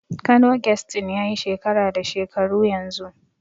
Kano Guest Inn yayi shekara da shekaru yanzu.